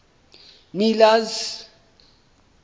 miller's